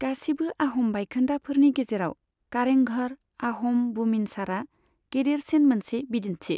गासिबो आह'म बायखोन्दाफोरनि गेजेराव, कारें घर आह'म बुमिनसारआ गेदेरसिन मोनसे बिदिन्थि।